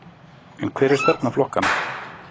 En hver er stefna flokkanna?